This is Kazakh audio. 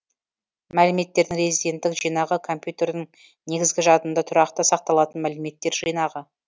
мәліметтердің резиденттік жинағы компьютердің негізгі жадында тұрақты сақталатын мәліметтер жинағы